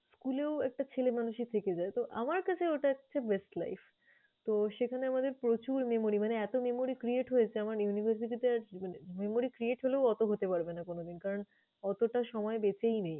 school এও একটা ছেলেমানুষি থেকে যায়। তো আমার কাছে ওটা হচ্ছে best life । তো সেখানে আমাদের প্রচুর memory মানে এতো memory create হয়েছে আমার university তে আজ মানে memory create হলেও ওতো হতে পারবে না কোনোদিন। কারণ অতটা সময় বেঁচেই নেই।